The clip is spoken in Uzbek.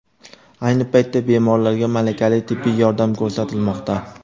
Ayni paytda bemorlarga malakali tibbiy yordam ko‘rsatilmoqda.